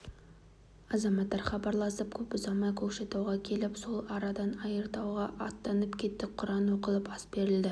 азаматтар хабарласып көп ұзамай көкшетауға келіп сол арадан айыртауға аттанып кеттік құран оқылып ас берілді